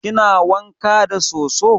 Kina wanka da soso?